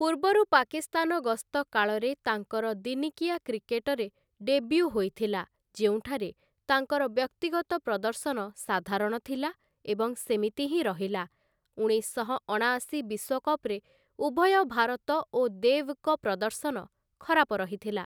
ପୂର୍ବରୁ ପାକିସ୍ତାନ ଗସ୍ତ କାଳରେ ତାଙ୍କର ଦିନିକିଆ କ୍ରିକେଟରେ ଡେବ୍ୟୁ ହୋଇଥିଲା, ଯେଉଁଠାରେ ତାଙ୍କର ବ୍ୟକ୍ତିଗତ ପ୍ରଦର୍ଶନ ସାଧାରଣ ଥିଲା ଏବଂ ସେମିତି ହିଁ ରହିଲା, ଉଣେଶଶହ ଅଣାଅଶୀ ବିଶ୍ୱକପ୍‌ରେ ଉଭୟ ଭାରତ ଓ ଦେବ୍‌ଙ୍କ ପ୍ରଦର୍ଶନ ଖରାପ ରହିଥିଲା ।